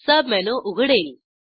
submenu उघडेल